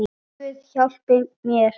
Guð hjálpi mér.